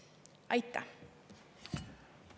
Aitäh!